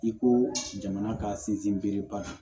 I ko jamana ka sinsin bere ba don